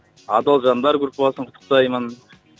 адал жандар группасын құттықтаймын